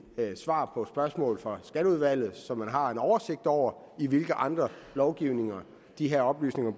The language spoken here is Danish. svaret på spørgsmål fra skatteudvalget så man har en oversigt over i hvilke andre lovgivninger de her oplysninger